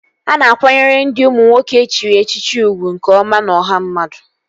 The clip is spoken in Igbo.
A na-akwanyere ndị ụmụ nwoke e chiri echichi ugwu nke ọma n'ọha mmadụ